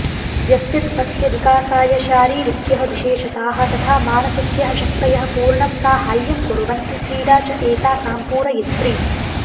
व्यक्तित्वस्य विकासाय शारीरिक्यः विशेषताः तथा मानसिक्यः शक्तयः पूर्णं साहाय्यं कुर्वन्ति क्रीडा च एतासां पूरयित्री